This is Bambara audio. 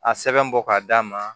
A sɛbɛn bɔ ka d'a ma